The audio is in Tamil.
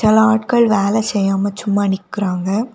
சில ஆட்கள் வேல செய்யாம சும்மா நிக்குறாங்க.